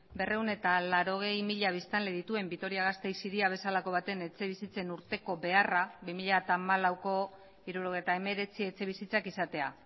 berrehun eta laurogei mila biztanle dituen vitoria gasteiz hiria bezalako baten etxebizitzen urteko beharra bi mila hamalauko hirurogeita hemeretzi etxebizitzak izatea